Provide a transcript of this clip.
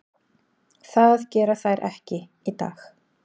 Það gera þær ekki í dag.